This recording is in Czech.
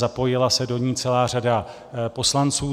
Zapojila se do ní celá řada poslanců.